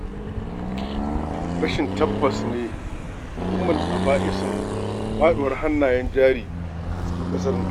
Rashin tabbas ne ummul aba'isun faɗuwar hannayen jari a cikin ƙasar nan.